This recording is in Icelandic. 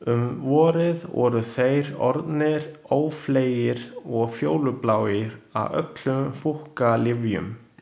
Um vorið voru þeir orðnir ófleygir og fjólubláir af öllum fúkkalyfjunum.